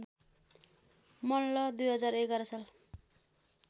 मल्ल २०११ साल